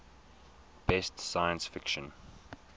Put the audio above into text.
best science fiction